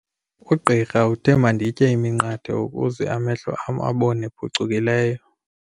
Ugqirha uthe manditye iminqathe ukuze amehlo am abone phucukileyo.